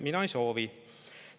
Mina ei soovi.